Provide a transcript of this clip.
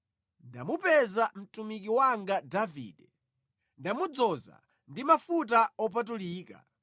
Ndamupeza mtumiki wanga Davide; ndamudzoza ndi mafuta opatulika.